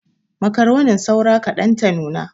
Makaronin saura kaɗan ta nuna.